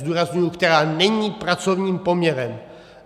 Zdůrazňuji - která není pracovním poměrem.